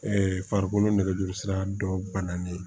farikolo nɛgɛjuru sira dɔ ban nalen